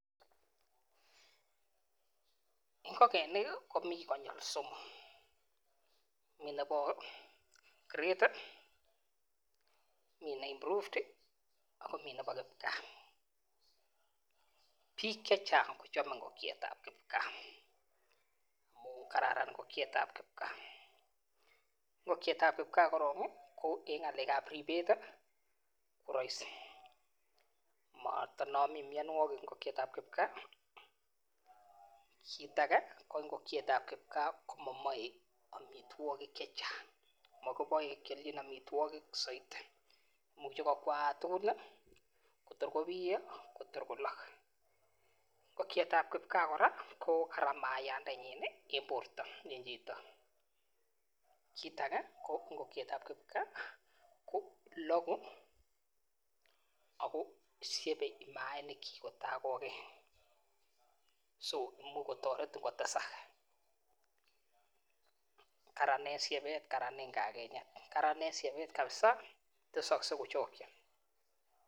Ngokenik komi konyi somok mi Nebo [grade, improved] ak mi Nebo kipkaa bik chechang kochamei ngokiet ab kipkaa amuu kararan ngokiet ab kipkaa, ngokiet ab kipkaa korok eng ng'alek ab ribet koraisi matanami myanwokik ngokiet ab kipkaa kit age ngokiet ab kipkaa komaamei tukuk chechang ako imuch kwamis tor konoto tor kolok ngokiet ab kipkaa kora ko kararan mayandenyin eng borto eng chito ako loku ako syepei mainik chik ako toretin kochanggaa ako kararan eng shebet